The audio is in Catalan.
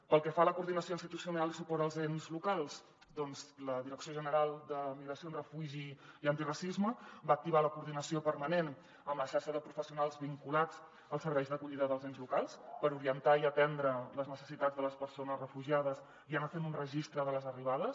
pel que fa a la coordinació institucional i suport als ens locals doncs la direcció general de migracions refugi i antiracisme va activar la coordinació permanent amb la xarxa de professionals vinculats als serveis d’acollida dels ens locals per orientar i atendre les necessitats de les persones refugiades i anar fent un registre de les arribades